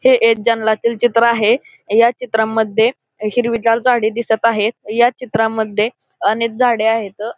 हे एक जंगलातील चित्र आहे ह्या चित्रामध्ये हिरवीगार झाडी दिसत आहे ह्या चित्रामध्ये अनेक झाडे आहेत.